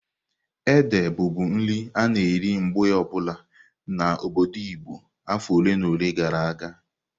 Ede bụbu nri a-na eri mgbe obula n'obodo Igbo afọ ole na ole gara aga.